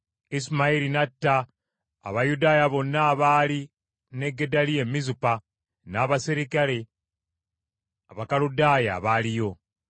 Isimayiri n’atta n’Abayudaaya bonna abaali ne Gedaliya e Mizupa, n’abaserikale Abakaludaaya abaaliyo.